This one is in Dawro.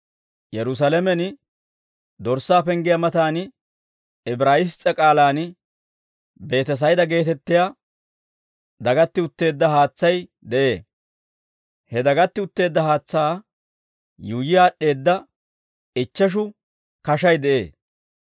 Yerusaalamen dorssaa penggiyaa matan Ibraayiss's'e k'aalaan Beetesayda geetettiyaa dagatti utteedda haatsay de'ee; he dagatti utteedda haatsaa yuuyyi aad'd'eedda ichcheshu kashay de'ee.